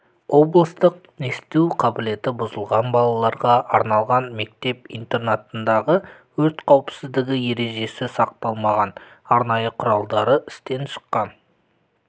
облыстық есту қабілеті бұзылған балаларға арналған мектеп-интернатындағы өрт қауіпсіздігі ережесі сақталмаған арнайы құралдары істен шыққан